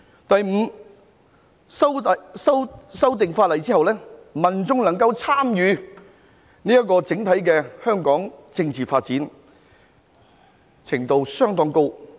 第五，在修訂法例後，民眾能夠參與香港整體政治發展的程度相當高。